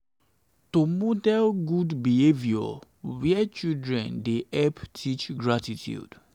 to model good behavour where where children dey dey help teach gratitude.